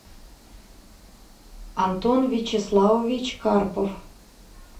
антон вячеславович карпов